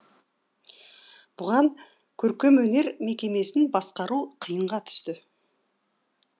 бұған көркемөнер мекемесін басқару қиынға түсті